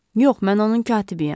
Yox, mən onun katibiyəm.